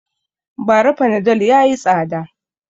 Ba ra fanadol yayi tsada